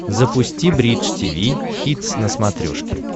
запусти бридж тиви хитс на смотрешке